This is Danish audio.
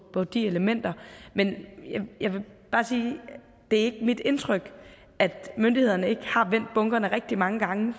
på de elementer jeg vil bare sige at det ikke er mit indtryk at myndighederne ikke har vendt bunkerne rigtig mange gange